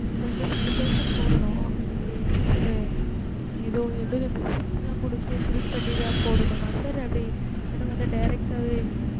அதான் sir five thousand போடணும் அதுக்கு என்ன sir ஏதோ எழுத receipt லா குடுத்து fill பண்ணி தான் போடணுமா sir அது இல்லன்னா வந்து direct டா வே